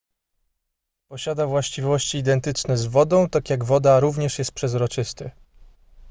posiada właściwości identyczne z wodą tak jak woda również jest przezroczysty